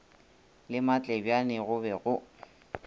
le matlebjane go be go